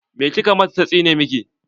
Me kika mata ta tsine miki?